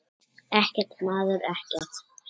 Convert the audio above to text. Ekkert, maður, ekkert.